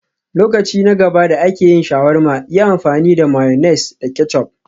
Lokaci na gaba da ake yin shawarma, yi amfani da mayonnaise da ketchup